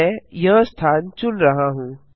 मैं यह स्थान चुन रहा हूँ